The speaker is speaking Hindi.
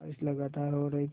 बारिश लगातार हो रही थी